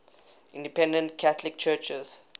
independent catholic churches